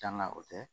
Danga o tɛ